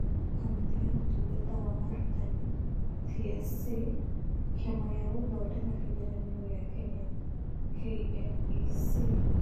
Kamĩtĩ ya Ũtungata wa Arutani (TSC), Kĩama gĩa gũthondeka kĩgeranio gĩa Kenya (KNEC).